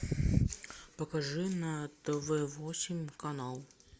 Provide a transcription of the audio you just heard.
покажи на тв восемь канал